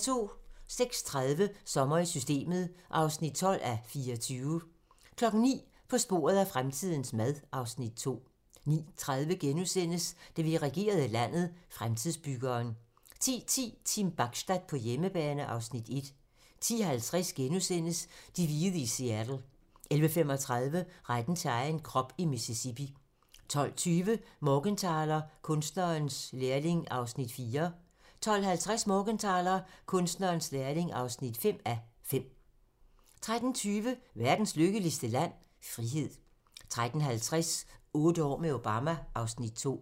08:30: Sommer i Systemet (12:24) 09:00: På sporet af fremtidens mad (Afs. 2) 09:30: Da vi regerede landet - Fremtidsbyggeren * 10:10: Team Bachstad på hjemmebane (Afs. 1) 10:50: De hvide i Seattle * 11:35: Retten til egen krop i Mississippi 12:20: Morgenthaler: Kunstnerens lærling (4:5) 12:50: Morgenthaler: Kunstnerens lærling (5:5) 13:20: Verdens Lykkeligste Land? - Frihed 13:50: Otte år med Obama (Afs. 2)